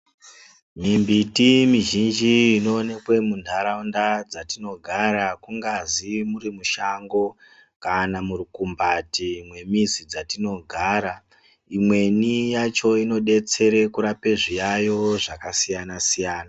Mimbiti mizhinji inoonekwa muntaraunda dzatinogara kungazi muri mushango kana murukombati yemizi dzatinogara imweni yacho inotidetsera kurapa zviyayo zvakasiyana siyana.